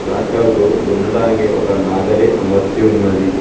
టాక్టర్కు దున్నడానికి ఒక నాగలి అమర్చి ఉన్నది